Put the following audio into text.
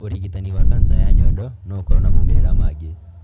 ũrigitani wa kanca ya nyondo no ũkorũo na moimĩrĩra mangĩ.